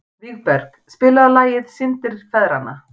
Vígberg, spilaðu lagið „Syndir feðranna“.